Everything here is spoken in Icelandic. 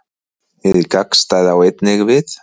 Hið gagnstæða á einnig við.